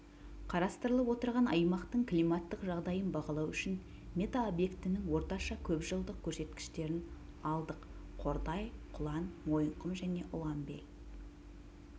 қарастырылып отырған аймақтың климаттық жағдайын бағалау үшін метеобекетінің орташа көпжылдық көрсеткіштерін алдық қордай құлан мойынқұм және ұланбель